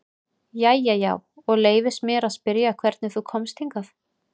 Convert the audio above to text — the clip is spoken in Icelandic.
Jæja já, og leyfist mér að spyrja hvernig þú komst hingað?